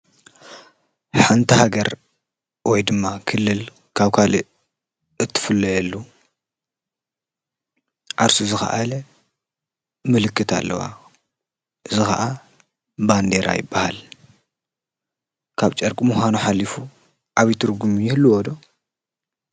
ሓንቲ ሃገር ወይ ድማ ክልል ካብ ካሊእ እትፍለየሉ ዓርሱ ዝኸኣለ ምልክት ኣለዋ። እዚ ከዓ ባንዴራ ይባሃል። ካብ ጨርቂ ምኻኑ ሓሉፉ ዓብይ ትርጉም ይህልዎ ዶ?